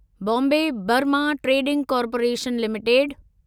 Bombay Burma trading corporation limited